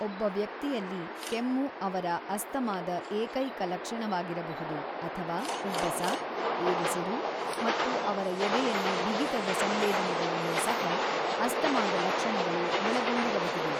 ಒಬ್ಬ ವ್ಯಕ್ತಿಯಲ್ಲಿ ಕೆಮ್ಮು ಅವರ ಅಸ್ತಮಾದ ಏಕೈಕ ಲಕ್ಷಣವಾಗಿರಬಹುದು ಅಥವಾ ಉಬ್ಬಸ, ಏದುಸಿರು, ಮತ್ತು ಅವರ ಎದೆಯಲ್ಲಿ ಬಿಗಿತದ ಸಂವೇದನೆಗಳನ್ನು ಸಹ ಅಸ್ತಮಾದ ಲಕ್ಷಣಗಳು ಒಳಗೊಂಡಿರಬಹುದು.